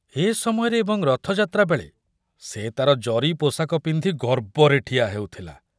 ଏ ସମୟରେ ଏବଂ ରଥଯାତ୍ରା ବେଳେ ସେ ତାର ଜରି ପୋଷାକ ପିନ୍ଧି ଗର୍ବରେ ଠିଆ ହେଉଥିଲା।